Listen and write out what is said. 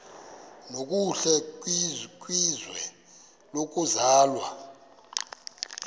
nokuhle kwizwe lokuzalwa